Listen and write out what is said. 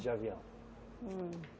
De avião. Hum